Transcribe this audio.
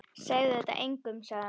Segðu þetta engum sagði hann.